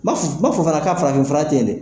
Ma fɔ n ma fɔ fana k'a farafinfura te yen dɛ!